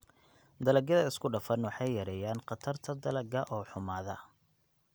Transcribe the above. Dalagyada isku-dhafan waxay yareeyaan khatarta dalagga oo xumaada.